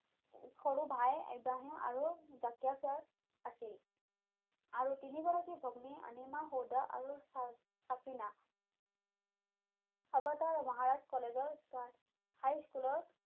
সৰু ভাই ইব্ৰাহিম আৰু আছিল আৰু তিনিগৰাকী ভগ্নী অনিমা হৌদা আৰু চা চাফ্ৰিনা মহাৰাষ্ট্ৰ কলেজৰ high school ৰ